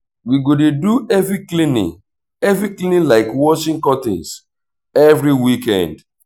we go dey do heavy cleaning heavy cleaning like washing curtains every weekend.